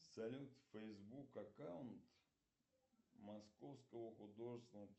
салют фейсбук аккаунт московского художественного